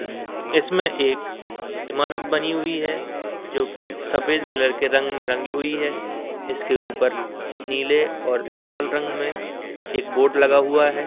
इसमें एक इमारत बनी हुई है जो की सफेद कलर के रंग में रंगी हुई है इसके ऊपर नीले और लाल रंग में एक बोर्ड लगा हुआ है।